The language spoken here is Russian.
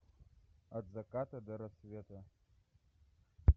от заката до рассвета